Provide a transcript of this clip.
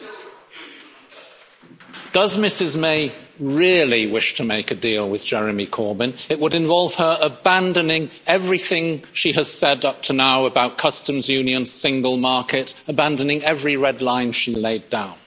Madam President, does Mrs May really wish to make a deal with Jeremy Corbyn? It would involve her abandoning everything she has said up to now about customs union, Single Market abandoning every red line she laid down.